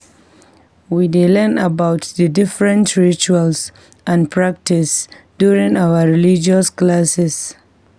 We dey learn about the different rituals and practices during our religious classes.